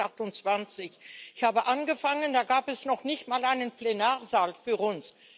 jetzt sind wir 28. Ich habe angefangen, da gab es noch nicht mal einen Plenarsaal für uns